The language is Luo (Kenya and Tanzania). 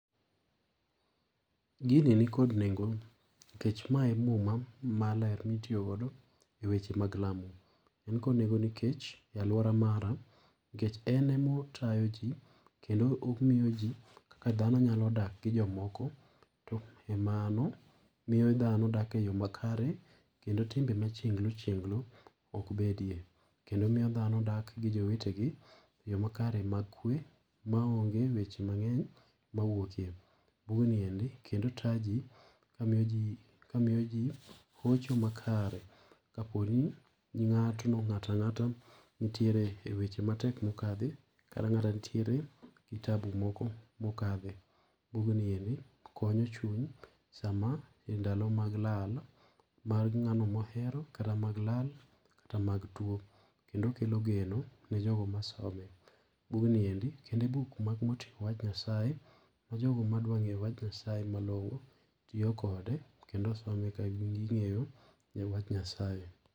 Gini ni kod nengo nikech , mae e muma maler mitiyo godo eweche mag lamo. En kod nengo nikech e aluora mara nikech en emo otayo ji kendo omiyoji kaka dhano nyalo dak gi jomoko to emano miyo dhano dak e yoo makare kendo timbe machienglo chienglo ok bedie. Kendo miyo dhano dak gi jowetegi eyoo makare mag kwe maonge weche mang'eny mawuokie. Bug ni endi kendo taa ji ka miyo jii , ka miyo jii hocho makare, kaponi ng'atno, ng'ata ng'ata nitiere weche matek mokadhe, kata ng'ato nitiere gi tabu moko mokadhe. Bug ni endi konyo chuny sama e ndalo mag lal mar ng'ano mohero kata mag lal kata mag tuo kendo okelo geno ne jogo masome. Bug ni endi kendo e buk moting'o wach nyasaye ma jogo ma dwa ng'eyo wach Nyasaye malong'o, tiyo kode kendo some eka gi ng'eyo wach Nyasaye.